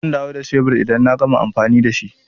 Zan dawo da shebur idan na gama amfani da shi.